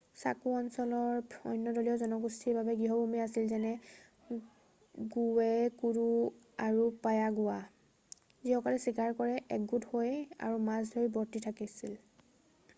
চাকু অঞ্চল অন্য দেশীয় জনগোষ্ঠীৰ বাবে গৃহভূমি আছিল যেনে গুৱেকুৰু আৰু পায়াগুৱা যিসকলে চিকাৰ কৰি একগোট হৈ আৰু মাছ ধৰি বৰ্তি আছিল